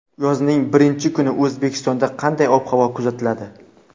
Yozning birinchi kuni O‘zbekistonda qanday ob-havo kuzatiladi?.